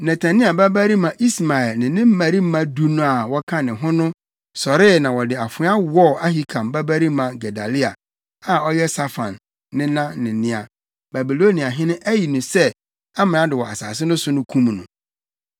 Netania babarima Ismael ne ne mmarima du no a wɔka ne ho no sɔree na wɔde afoa wɔɔ Ahikam babarima Gedalia, a ɔyɛ Safan nena ne nea Babiloniahene ayi no sɛ amrado wɔ asase no so no kum no.